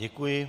Děkuji.